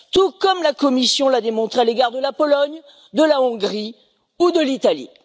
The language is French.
Tout comme la Commission l'a démontré à l'égard de la Pologne, de la Hongrie ou de l'Italie.